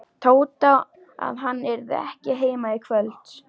Tóta að hann yrði ekki heima í kvöld.